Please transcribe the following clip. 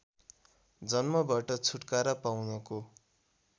जन्मबाट छुटकारा पाउनको